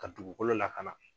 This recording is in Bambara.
Ka dugukolo lakana.